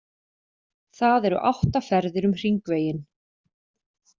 Það eru átta ferðir um Hringveginn.